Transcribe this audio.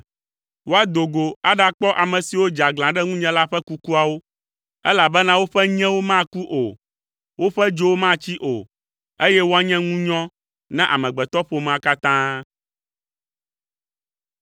Woado go aɖakpɔ ame siwo dze aglã ɖe ŋunye la ƒe kukuawo, elabena woƒe nyewo maku o, woƒe dzowo matsi o, eye woanye ŋunyɔ na amegbetɔƒomea katã.”